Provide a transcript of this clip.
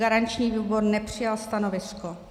Garanční výbor nepřijal stanovisko.